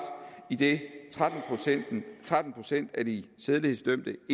idet tretten procent af de sædelighedsdømte